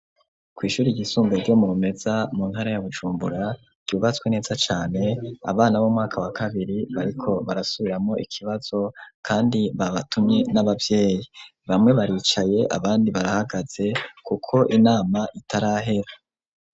Kw ishuri iyisumbuye ryo mu bumeza mu nkara ya bujumbura ryubatswe neza cane abana b'umwaka wa kabiri bariko barasubiramo ikibazo kandi babatumye n'ababyeyi bamwe baricaye abandi barahagaze kuko inama itarahera.